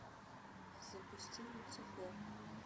запусти люцифер